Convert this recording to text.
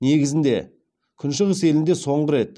негізінде күншығыс елінде соңғы рет